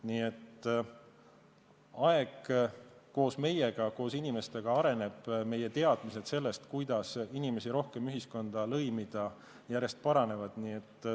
Nii et aeg koos meiega, koos inimestega areneb, meie teadmised sellest, kuidas inimesi rohkem ühiskonda lõimida, järjest paranevad.